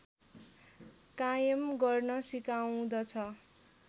कायम गर्न सिकाउँदछ